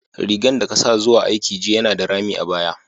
Rigan da ka sa zuwa aiki jiya yana da rami a baya.